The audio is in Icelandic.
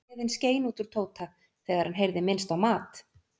Gleðin skein út úr Tóta þegar hann heyrði minnst á mat.